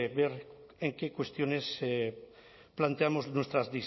ver en qué cuestiones planteamos nuestras